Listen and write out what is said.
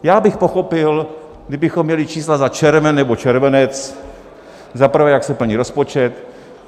Já bych pochopil, kdybychom měli čísla za červen nebo červenec, za prvé, jak se plní rozpočet.